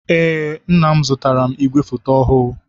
Ee, nna m zụtaara m ìgwè foto ọhụụ.